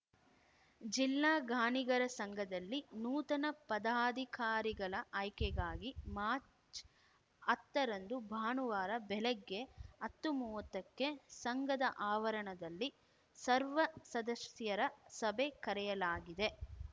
ಜಿಲ್ಲಾ ಗಾಣಿಗರ ಸಂಘದಲ್ಲಿ ನೂತನ ಪದಾಧಿಕಾರಿಗಳ ಆಯ್ಕೆಗಾಗಿ ಮಾರ್ಚ್ಹತ್ತರಂದು ಭಾನುವಾರ ಬೆಳಗ್ಗೆ ಹತ್ತುಮೂವತ್ತಕ್ಕೆ ಸಂಘದ ಆವರಣದಲ್ಲಿ ಸರ್ವಸದಸ್ಯರ ಸಭೆ ಕರೆಯಲಾಗಿದೆ